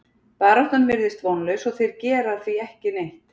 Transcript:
Baráttan virðist vonlaus og þeir gera því ekki neitt.